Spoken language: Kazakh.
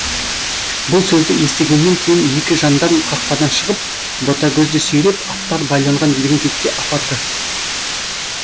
бұл сөзді естігеннен кейін екі жандарм қақпадан шығып ботагөзді сүйреп аттар байланған діңгекке апарды